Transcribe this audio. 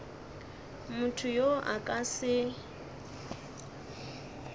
motho yo a ka se